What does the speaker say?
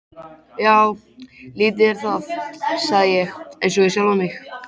Já, lítið er það, sagði ég einsog við sjálfan mig.